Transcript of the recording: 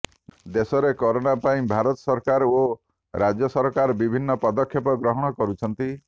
ଦେଶରେ କୋରୋନା ପାଇଁ ଭାରତ ସରକାର ଓ ରାଜ୍ୟ ସରକାର ବିଭିନ୍ନ ପଦକ୍ଷେପ ଗ୍ରହଣ କରୁଛନ୍ତି